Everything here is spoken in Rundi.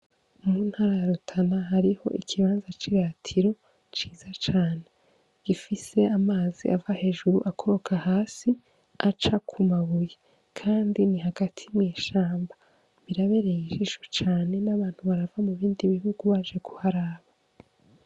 Mu ntara ya rutana hariho ikibanza c'i gatiro ciza cane gifise amazi ava hejuru akoroka hasi aca ku mabuyi, kandi ni hagati mwishamba birabereye ijisho cane n'abantu barava mu bindi bihugu baje kuharaba.